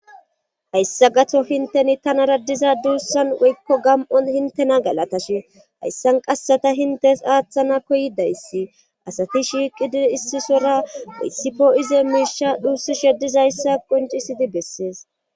Hayssa gato hinteni tanara diza duussan woykko gam7on hintena galatash hayssan qasseta hintes aaththana koydayssi asati shiiqidi issisora oyssifo ize miisha dhuussi shedizayssa qoncisidi bessees.